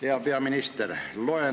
Hea peaminister!